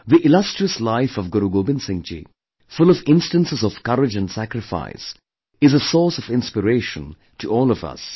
The illustrious life of Guru Gobind Singh ji, full of instances of courage & sacrifice is a source of inspiration to all of us